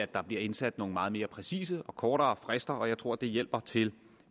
der bliver indsat nogle meget mere præcise og kortere frister og jeg tror det hjælper til